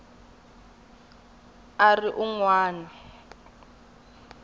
a ri un wana wa